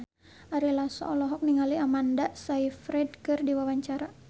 Ari Lasso olohok ningali Amanda Sayfried keur diwawancara